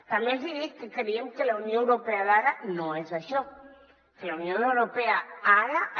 tam·bé els hi dic que creiem que la unió europea d’ara no és això que la unió europea d’ara